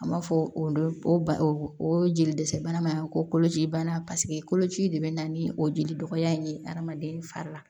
An b'a fɔ olu ba o jeli dɛsɛ bana ma kolocibana paseke koloci de bɛ na ni o jeli dɔgɔya in ye adamaden fari la